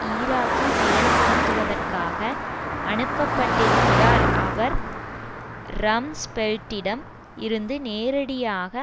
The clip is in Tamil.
ஈராக்கில் செயல்படுத்துவதற்காக அனுப்பப்பட்டிருக்கிறார் அவர் ரம்ஸ்பெல்ட்டிடம் இருந்து நேரடியாக